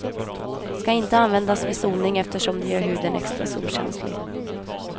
Ska inte användas vid solning eftersom den gör huden extra solkänslig.